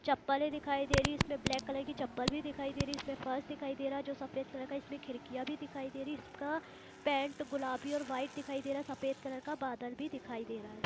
चप्पलें दिखाई दे रही है इसमें ब्लेक कलर की चप्पल भी दिखाई दे रही है इसमें फर्स दिखाई दे रहा है जो सफेद कलर का इसमें खिड़कियाँ भी दिखाई दे रही है इसका पेंट गुलाबी और वाईट दिखाई दे रहा है सफेद कलर का बादल भी दिखाय दे रहा है।